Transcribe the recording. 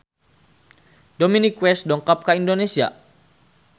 Dominic West dongkap ka Indonesia